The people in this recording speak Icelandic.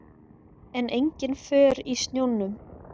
En engin för í snjónum.